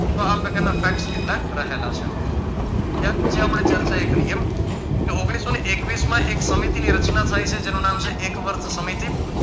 તો આ પ્રકારના facts કેટલાય રહેલા છે ત્યાર પછી આપણે ચર્ચા એ કરીએ ઓગણીસો એકવીશમાં એક સમિતિ ની રચના થાય છે જેનું નામ છે એકવર્ધ સમિતિ